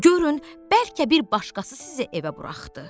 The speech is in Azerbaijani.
Görün, bəlkə bir başqası sizi evə buraxdı.